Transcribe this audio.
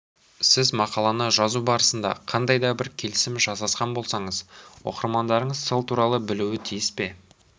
сіз мақаланы жазу барысында қандай да бір келісім жасасқан болсаңыз оқырмандарыңыз сол туралы білуі тиіс пе